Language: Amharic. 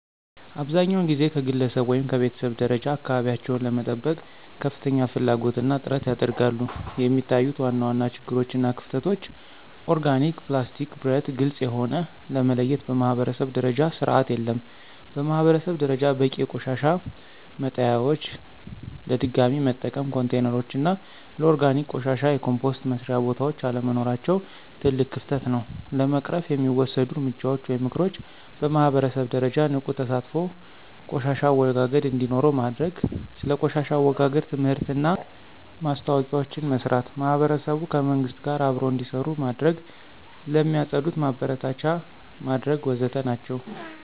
አብዛኛውን ጊዜ ከግለሰብ ወይም ከቤተሰብ ደረጃ አካባቢቸውን ለመጠበቅ ከፍተኛ ፍላጎት እና ጥረት ያደርጋሉ፣ የሚታዩት ዋና ዋና ችግሮች እና ክፍተቶች (ኦርጋኒክ፣ ፕላስቲክ፣ ብረት፣ ግልጽ የሆነ) ለመለየት በማኅበረሰብ ደረጃ ስርዓት የለም። በማህበረሰብ ደረጃ በቂ የቆሻሻ መጣሊያዎች፣ ለድገሚ መጠቀም ኮንቴይነሮች እና ለኦርጋኒክ ቆሻሻ የኮምፖስት መስሪያ ቦታዎች አለመኖራቸው ትልቅ ክፍተት ነው። ለመቅረፍ የሚወሰዱ እርምጃዎች (ምክሮች) በማህበረሰብ ደረጃ ንቁ ተሳትፎ ቆሻሻ አወጋገድ እንዴኖረው ማድርግ። ስለ ቆሻሻ አወጋገድ ትምህርትና ማስታወቂያዎችን መስራት። ማህበረሰቡ ከመንግሥት ጋር አብሮ እንዴሰሩ መድረግ። ለሚፅድት ማበረታቻ መድረግ ወዘተ ናቸው።